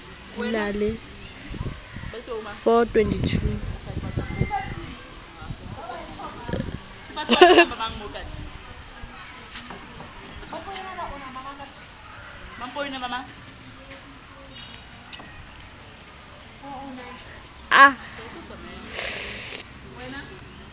di na le babuelli ba